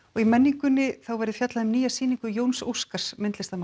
í menningunni verður fjallað um nýja sýningu Jóns Óskars myndlistarmanns